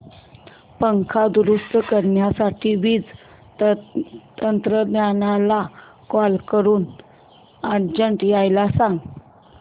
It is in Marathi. पंखा दुरुस्त करण्यासाठी वीज तंत्रज्ञला कॉल करून अर्जंट यायला सांग